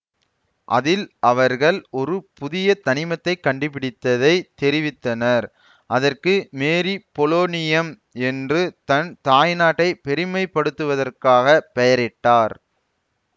அதில் அவர்கள் ஒரு புதிய தனிமத்தை கண்டுபிடித்ததை தெரிவித்தனர் அதற்கு மேரீ பொலோனியம் என்று தன் தாய்நாட்டை பெருமைப்படுத்துவதற்காக பெயரிட்டார்